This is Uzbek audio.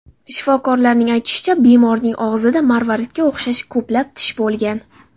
Shifokorlarning aytishicha, bemorning og‘zida marvaridga o‘xshash ko‘plab tish bo‘lgan.